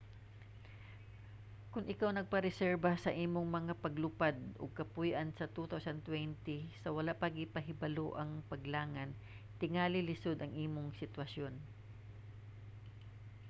kon ikaw nagpareserba sa imong mga paglupad ug kapuy-an sa 2020 sa wala pa gipahibalo ang paglangan tingali lisod ang imong sitwasyon